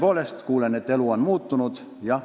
Aga ma kuulen, et elu on muutunud.